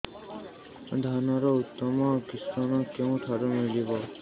ଧାନର ଉତ୍ତମ କିଶମ କେଉଁଠାରୁ ମିଳିବ